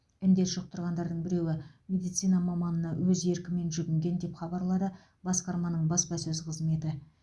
індет жұқтырғандардың біреуі медицина маманына өз еркімен жүгінген деп хабарлады басқарманың баспасөз қызметі